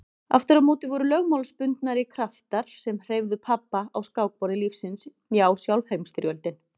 Aftur á móti voru lögmálsbundnari kraftar sem hreyfðu pabba á skákborði lífsins já sjálf Heimsstyrjöldin.